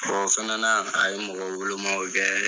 Ooo fɛnɛ a ye mɔgɔ wolomaw kɛ.